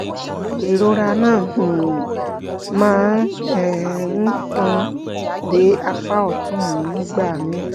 ìrora náà um máa um ń tàn dé apá ọ̀tún mi nígbà míì